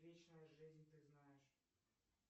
вечная жизнь ты знаешь